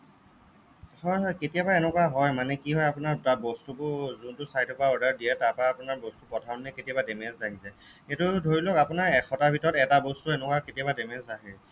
হ'য় হ'য় কেতিয়াবা এনেকুৱা হ'য় মানে কি হ'য় আপোনাৰ বস্তুবোৰ যোনটো site ৰ পৰা order দিয়ে তাৰ পৰা আপোনাৰ বস্তু পঠাওতে কেতিয়াবা damage আহি যায় সেইটো ধৰি লওক আপোনাৰ এশটাৰ ভিতৰত এটা বস্তু এনেকুৱা কেতিয়াবা damage আহে